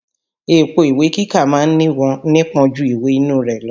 Èpo ìwé kíkà ma ń nípọn ju ìwè inú rẹ̀ lọ.